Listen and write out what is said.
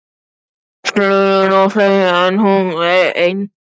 Hún las gleraugnalaust á fleiri en einn